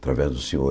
Através do senhor.